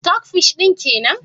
" stock fish " din kenan?